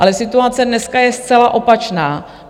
Ale situace dneska je zcela opačná.